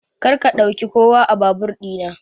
Karka ɗauka kowa a babur ɗina.